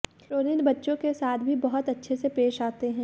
रोनित बच्चों के साथ भी बहुत अच्छे से पेश आते हैं